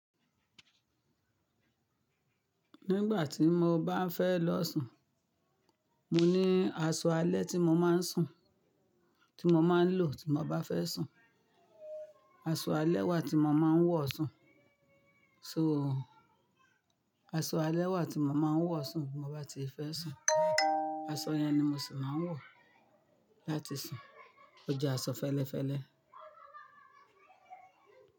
Nígbà tí mo bá ń fẹ́ lọ sùn, mo ní aṣọ alẹ́ tí mo máa ń sùn, tí mo máa ń lò tí mo bá fẹ́ sùn, aṣọ alẹ́ wà tí mo máa ń wọ̀ sùn. So aṣọ alẹ́ wà tí mo máa ń wọ̀ sùn bí mo bá ti fẹ́ sùn, aṣọ yẹn ni mo sì máa ń wọ̀ láti sùn. Ó jẹ́ aṣọ fẹ́lẹ́fẹ́lẹ́.